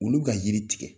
Olu ka yiri tigɛ